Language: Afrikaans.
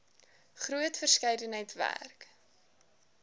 groot verskeidenheid werk